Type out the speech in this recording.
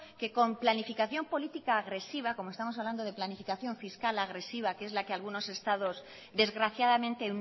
que con planificación política agresiva como estamos hablando de planificación fiscal agresiva que es la que algunos estados desgraciadamente